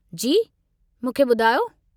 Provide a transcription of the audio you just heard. जी, मुखे ॿुधायो।